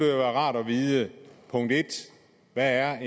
rart at vide hvad er